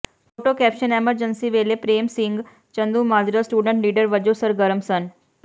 photo caption emergency ਵੇਲੇ Prem Singh Chandumajra student leader ਵਜੋਂ ਸਰਗਰਮ ਸਨ